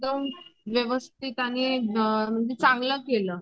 तर व्यवस्थित आणि चांगलं केलं.